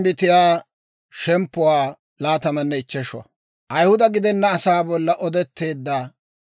Med'inaa Godaa k'aalay taakko hawaadan yaagiidde yeedda;